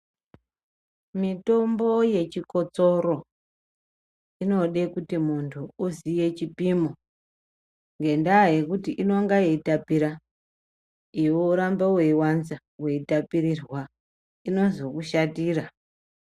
Mitombo yechikosoro inode kuti muntu uziye chipimo ngendaa yekuti inenge yeitapira iwe woramba weiwanza weitapirirwa inozokushatira.